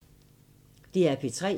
DR P3